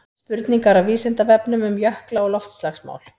spurningar af vísindavefnum um jökla og loftslagsmál